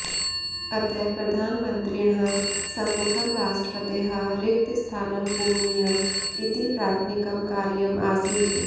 अतः प्रधानमन्त्रिणः सम्मुखं राष्ट्रपतेः रिक्तस्थानं पूरणीयम् इति प्राथमिकं कार्यम् आसीत्